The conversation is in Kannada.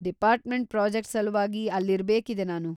ಡಿಪಾರ್ಟ್‌ಮೆಂಟ್ ಪ್ರಾಜೆಕ್ಟ್‌ ಸಲುವಾಗಿ ಅಲ್ಲಿರ್ಬೇಕಿದೆ ನಾನು.